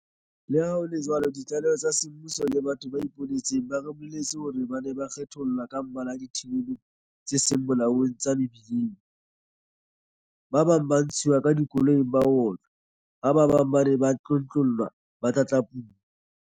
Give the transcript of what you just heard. Le ha ho le jwalo ditlaleho tsa semmuso le batho ba ipone tseng ba re bolelletse hore batho ba ne ba kgethollwa ka mmala dithibelong tse seng molaong tsa mebi leng, ba bang ba ntshuwa ka dikoloing ba otlwa ha ba bang ba ne ba tlontlollwa ba tlatlapuwa.